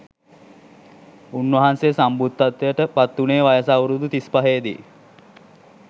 උන්වහන්සේ සම්බුද්ධත්වයට පත්වුණේ වයස අවුරුදු තිස්පහේදී